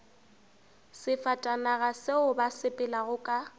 sefatanaga seo ba sepelago ka